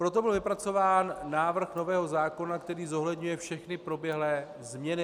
Proto byl vypracován návrh nového zákona, který zohledňuje všechny proběhlé změny.